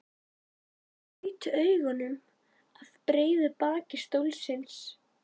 Ég gaut augum að breiðu baki stólsins.